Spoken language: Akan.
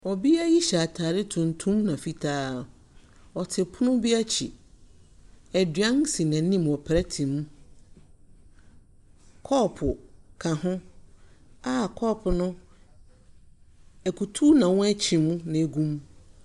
Ɔbea yi hyɛ atare tuntum na fitaa. Ɔte pon bi akyi. Aduan si n'anim wɔ plɛte mu. Kɔɔpo ka ho a kɔɔpo no akutu na wɔakyim na egum.